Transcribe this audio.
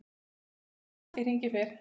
Ásinn hratt í hringi fer.